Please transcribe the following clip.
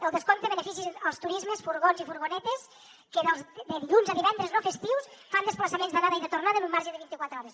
el descompte beneficia els turismes furgons i furgonetes que des de dilluns a divendres no festius fan desplaçaments d’anada i de tornada en un marge de vint i quatre hores